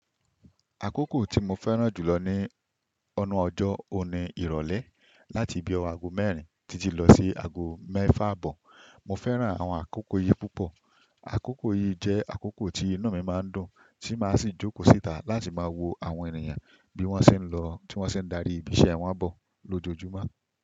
Àkókò tí mo fẹ́ràn jùlọ nínu ọjọ́ ọ̀ni ìrọ̀lẹ́ láti bíi ọwo ago mẹ́rin títí lọ sí ago mẹ́fà àbọ̀. Mo fẹ́ràn àwọn àkókò yìí púpọ̀. Àkókò yìí jẹ́ àkókò tí iná mi máa ń dùn tí máa sì jókòó síta láti máa wo àwọn ènìyàn bí wọ́n ṣe ń lọ, tí wọ́n ṣe ń darí ibi iṣẹ́ wọn bọ̀ lójoojúmọ́